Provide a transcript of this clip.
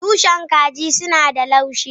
Tushen kaji suna da laushi.